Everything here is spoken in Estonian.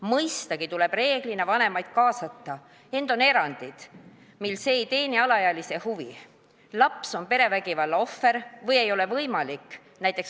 Mõistagi tuleb üldjuhul kaasata vanemad, ent on erandeid, mil see ei ole alaealise huvides või ei ole võimalik .